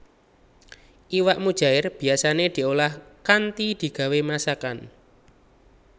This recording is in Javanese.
Iwak mujaèr biyasané diolah kanthi digawé masakan